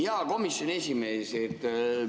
Hea komisjoni esimees!